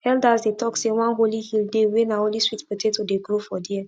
elders dey talk say one holy hill dey wey na only sweet potato dey grow for there